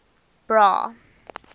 bra